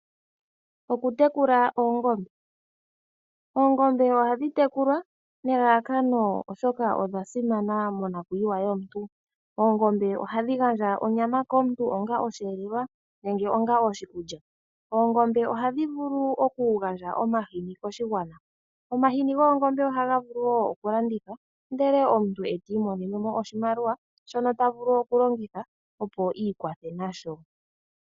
Okutekula oongombe. Oongombe ohadhi tekulwa nelalakano, oshoka odha simana monakuyiwa yomuntu. Oongombe ohadhi gandja onyama komuntu onga osheelelwa, nenge onga oshikulya. Oongombe ohadhi vulu okugandja omahini koshigwana. Omahini oongombe ohaga vulu wo okulandithwa, ndele omuntu e ti imonene mo oshimaliwa shono ta vulu okulongitha, opo i ikwathe nasho.